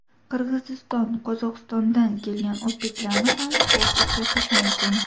Qirg‘iziston, Qozog‘istondan kelgan o‘zbeklarni ham ko‘p uchratish mumkin.